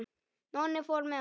Nonni fór með honum.